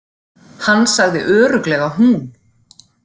Hann sagði örugglega hún.